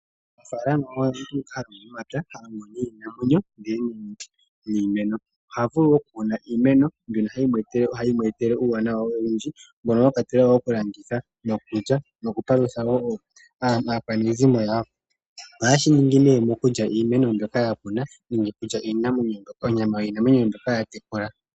Omunafaalama oye ngoka ha longo nuunamapya, ha longo niinamwenyo ndele niimeno. Oha vulu okukuna iimeno mbyono hayi mu etele uuwanawa owundji mono mwa kwatelwa wo okulanditha, okulya nokupalutha wo aakwanezimo yawo. Ohaye shi ningi mokulya iimeno mbyoka ya kuna nenge okulya onyama yiinamwenyo mbyoka ya tekula.